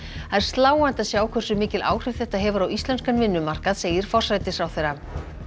það er sláandi að sjá hversu mikil áhrif þetta hefur á íslenskan vinnumarkað segir forsætisráðherra